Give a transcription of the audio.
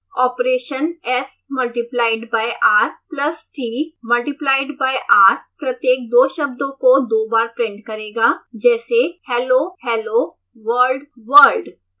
operations multiplied by r plus t multiplied by r प्रत्येक दो शब्दों को दो बार प्रिंट करेगा जैसे hellohelloworldworld